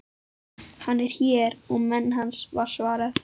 Hann er hér og menn hans, var svarað.